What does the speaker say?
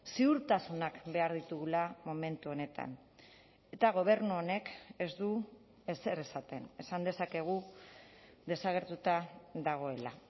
ziurtasunak behar ditugula momentu honetan eta gobernu honek ez du ezer esaten esan dezakegu desagertuta dagoela